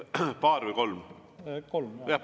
Paar või kolm?